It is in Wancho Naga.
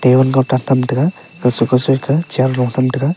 tham tega kausui kausui ja chair lo tham tega.